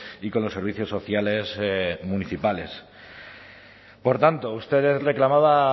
y con los servicios sociales municipales por tanto usted reclamaba